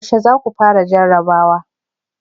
Yaushe za ku fara jarrabawa?